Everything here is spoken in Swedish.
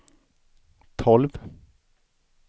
tolv